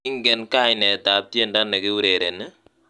Ingene kainateab tiendo nekiurereni